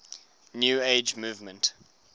new age movement